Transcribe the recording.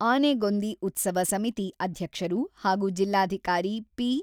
ಆನೆಗೊಂದಿ ಉತ್ಸವ ಸಮಿತಿ ಅಧ್ಯಕ್ಷರು ಹಾಗೂ ಜಿಲ್ಲಾಧಿಕಾರಿ ಪಿ.